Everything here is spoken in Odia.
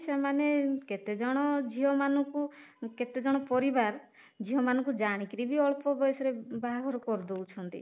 ସେମାନେ କେତେ ଜଣ ଝିଅ ମାନଙ୍କୁ କେତେ ଜଣ ପରିବାର ଝିଅ ମାନଙ୍କୁ ଜାଣିକି ରି ବି ଅଳ୍ପ ବୟସରେ ବାହାଘର କରିଦଉଛନ୍ତି